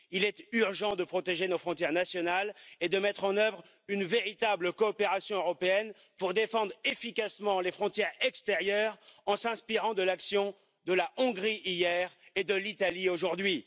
Il est urgent de protéger nos frontières nationales et de mettre en œuvre une véritable coopération européenne pour défendre efficacement les frontières extérieures en s'inspirant de l'action de la Hongrie hier et de l'Italie aujourd'hui.